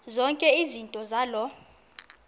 zonke izinto zaloo